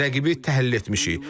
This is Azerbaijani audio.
Rəqibi təhlil etmişik.